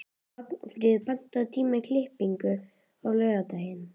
Magnfríður, pantaðu tíma í klippingu á laugardaginn.